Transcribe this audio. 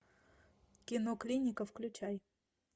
кино клиника включай